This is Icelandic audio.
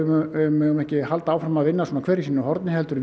megum ekki halda áfram að vinna svona hver í sínu horni heldur